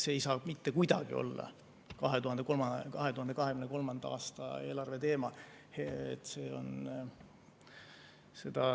See ei saa mitte kuidagi olla 2023. aasta eelarve teema.